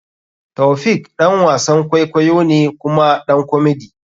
Taofiq ɗan wasan kwaikwayo ne kuma ɗan komedy.